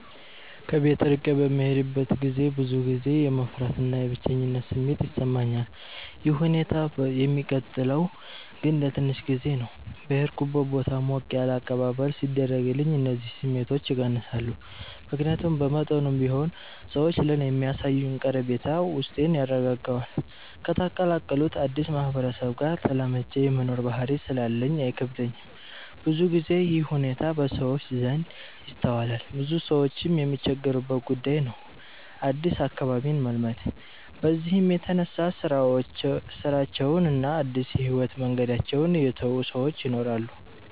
ከቤት እርቄ በምሄድበት ገዜ ብዙ ጊዜ የመፍራት እና የብቸኝነት ስሜት ይሰማኛል። ይህ ሁኔታ የሚቀጥለው ግን ለትንሽ ጊዜ ነው። በሄድኩበት ቦታ ሞቅ ያለ አቀባበል ሲደረግልኝ እነዚህ ስሜቶች ይቀንሳሉ። ምክያቱም በመጠኑም ቢሆን ሰዎች ለኔ የሚያሳዩኝ ቀረቤታ ውስጤን ያረጋጋዋል። ከተቀላቀሉት አድስ ማህበረሰብ ጋር ተላምጄ የመኖር ባህሪ ስላለኝ አይከብደኝም። ብዙ ግዜ ይህ ሁኔታ በሰዎች ዘንድ ይስተዋላል ብዙ ሰዎችም የሚቸገሩበት ጉዳይ ነው አድስ አካባቢን መልመድ። በዚህም የተነሳ ስራቸውን እና አድስ የህይወት መንገዳቸውን የተው ሰወች ይናራሉ።